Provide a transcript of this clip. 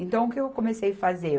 Então, o que eu comecei fazer?